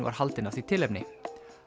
var haldin af því tilefni